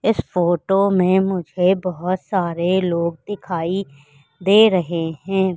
इस फोटो में मुझे बहोत सारे लोग दिखाई दे रहे हैं।